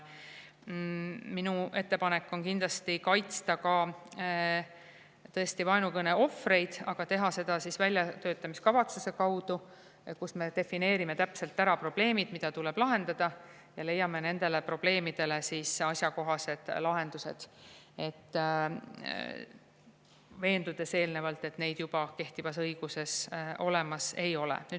Minu ettepanek on kindlasti kaitsta ka tõesti vaenukõne ohvreid, aga teha seda, väljatöötamiskavatsusele, kus me defineerime täpselt probleemid, mida tuleb lahendada, ja leiame nendele probleemidele asjakohased lahendused, olles eelnevalt veendunud, et neid juba kehtivas õiguses olemas ei ole.